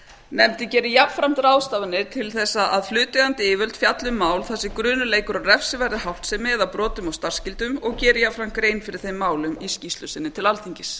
nefndin geri jafnframt ráðstafanir til að hlutaðeigandi yfirvöld fjalli um mál þar sem grunur leikur á refsiverðri háttsemi eða brotum á starfsskyldum og geri jafnframt grein fyrir þeim málum í skýrslu sinni til alþingis